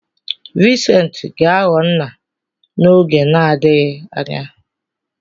Vincent ga-aghọ nna n'oge na-adịghị anya.